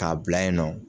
K'a bila yen nɔ